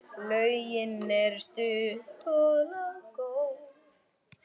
Lögin eru stutt og laggóð.